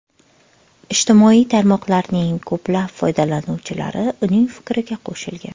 Ijtimoiy tarmoqlarning ko‘plab foydalanuvchilari uning fikriga qo‘shilgan.